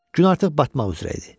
Gün artıq batmaq üzrə idi.